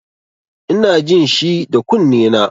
Ina jin shi da kunnena.